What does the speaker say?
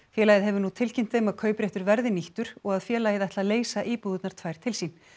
félagið hefur nú tilkynnt þeim að kaupréttur verði nýttur og að félagið ætli að leysa íbúðirnar tvær til sín